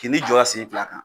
Kin'i jɔ a sen fila kan,